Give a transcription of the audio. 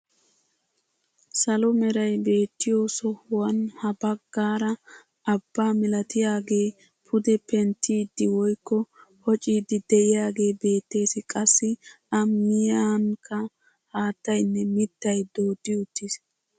Salo meray beettiyo sohuwaan ha baggaara abbaa milatiyaage pude penttiidi woykko pocciidi de'iyaagee beettees. qassi a miyiyanikka maatayinne mittay dooddi uttiis.